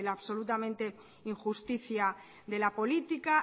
la absolutamente injusticia de la política